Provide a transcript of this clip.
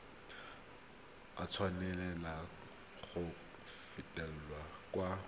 a tshwanela go fetolwa kwa